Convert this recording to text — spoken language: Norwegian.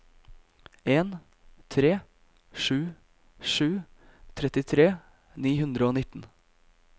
en tre sju sju trettitre ni hundre og nitten